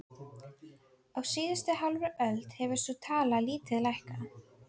Á síðustu hálfri öld hefur sú tala lítið hækkað.